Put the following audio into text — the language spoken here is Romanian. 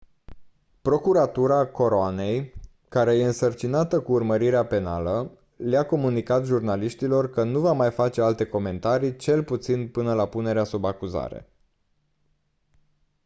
procuratura coroanei care e însărcinată cu urmărirea penală le-a comunicat jurnaliștilor că nu va mai face alte comentarii cel puțin până la punerea sub acuzare